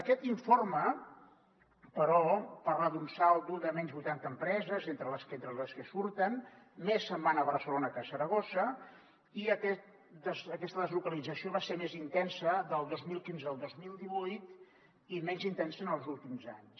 aquest informe però parla d’un saldo de menys vuitanta empreses entre les que entren i les que surten més se’n van a barcelona que a saragossa i aquesta deslocalització va ser més intensa del dos mil quinze al dos mil divuit i menys intensa en els últims anys